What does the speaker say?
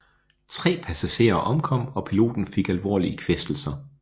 Tre passagerer omkom og piloten fik alvorlige kvæstelser